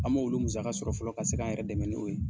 An m'olu musaka sɔrɔ fɔlɔ ka se k'an yɛrɛ dɛmɛ n'o ye